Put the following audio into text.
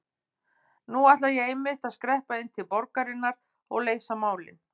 Nú ætla ég einmitt að skreppa inn til borgarinnar og leysa málin.